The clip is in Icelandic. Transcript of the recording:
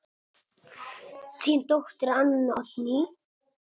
Þín dóttir, Anna Oddný.